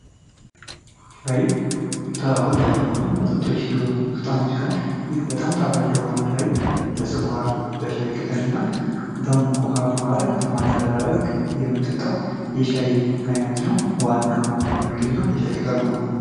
ሻይ ተወዳጅ ከሆኑ መጠጦች ውስጥ አንዱ ሲሆን ይህ በጣም ጣፋጭ የሆነው ሻይ በስኳር ፣በሻይ ቅጠል እና በሙቅ ውሃ በማድረግ በማደበላለቅ የምንጠታው የሻይ አይነት ነው። ዋና ቅመሙ የሚገኘው በሻይ ቅጠሉ ነው።